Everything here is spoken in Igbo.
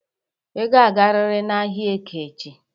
Ị ga-agarịrị n'ahịa Eke echi!